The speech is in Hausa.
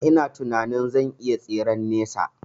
Ina tinanin cewa zan iya tseren nesa